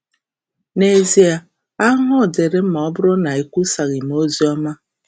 N’ezie, ahụhụ dịịrị m ma ọ bụrụ na e kwusaghị m oziọma!